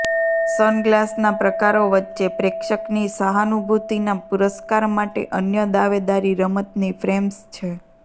સનગ્લાસના પ્રકારો વચ્ચે પ્રેક્ષકની સહાનુભૂતિના પુરસ્કાર માટે અન્ય દાવેદારી રમતની ફ્રેમ્સ છે